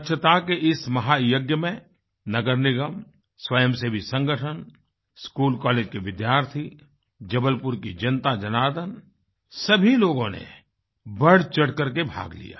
स्वच्छता के इस महायज्ञ में नगर निगम स्वयं सेवी संगठन स्कूलकॉलेज के विद्यार्थी जबलपुर की जनताजनार्दन सभी लोगों ने बढ़चढ़ करके भाग लिया